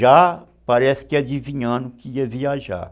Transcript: Já parece que adivinhando que ia viajar.